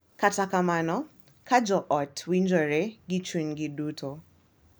Kata kamano, ka jo ot winjore gi chunygi duto, .